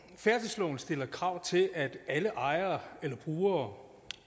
færdselsloven stiller krav til at alle ejere eller brugere